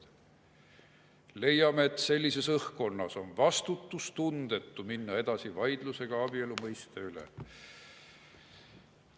Leiame, et sellises õhkkonnas on vastutustundetu minna edasi vaidlusega abielu mõiste üle.